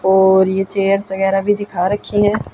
और ये चेयर्स वगैरा भी दिखा रखी हैं।